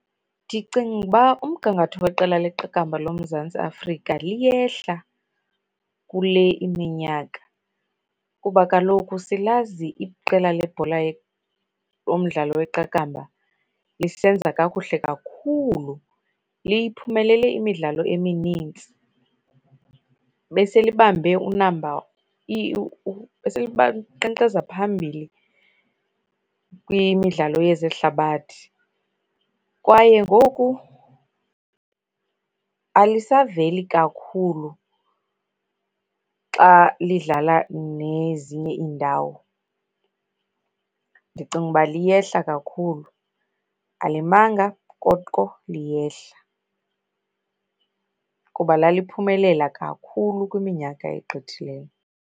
Ndicinga uba umgangatho weqela leqakamba loMzantsi Afrika liyehla kule iminyaka kuba kaloku silazi iqela lebhola lomdlalo weqakamba lisenza kakuhle kakhulu. Liphumelele imidlalo eminintsi, beselibambe unamba linqenqeza phambili kwimidlalo yezehlabathi kwaye ngoku alisaveli kakhulu xa lidlala nezinye iindawo. Ndicinga uba liyehla kakhulu, alimanga koko liyehla kuba laliphumelela kakhulu kwiminyaka egqithileyo.